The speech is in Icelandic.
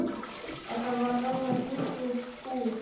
Þetta var nánast nýtt út úr búð.